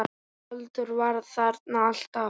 Halldór var þarna alltaf.